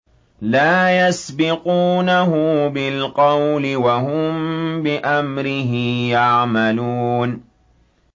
لَا يَسْبِقُونَهُ بِالْقَوْلِ وَهُم بِأَمْرِهِ يَعْمَلُونَ